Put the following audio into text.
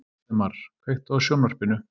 Valdemar, kveiktu á sjónvarpinu.